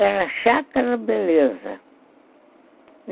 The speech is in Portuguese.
Era a Chácara Beleza.